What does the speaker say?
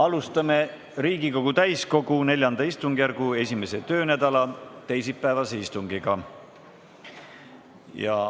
Alustame Riigikogu täiskogu IV istungjärgu 1. töönädala teisipäevast istungit.